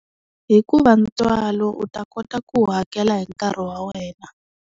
Hikuva tswalo u ta kota ku wu hakela hi nkarhi wa wena.